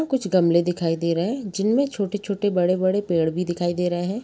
कुछ गमले दिखाई दे रहे है जिनमें छोटे -छोटे बड़े -बड़े पेड़ भी दिखाई दे रहे हैं।